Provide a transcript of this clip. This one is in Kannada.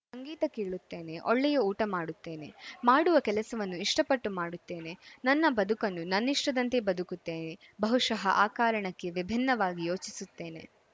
ಸಂಗೀತ ಕೇಳುತ್ತೇನೆ ಒಳ್ಳೆಯ ಊಟ ಮಾಡುತ್ತೇನೆ ಮಾಡುವ ಕೆಲಸವನ್ನು ಇಷ್ಟಪಟ್ಟು ಮಾಡುತ್ತೇನೆ ನನ್ನ ಬದುಕನ್ನು ನನ್ನಿಷ್ಟದಂತೆ ಬದುಕುತ್ತೇನೆ ಬಹುಶಃ ಆ ಕಾರಣಕ್ಕೇ ವಿಭಿನ್ನವಾಗಿ ಯೋಚಿಸುತ್ತೇನೆ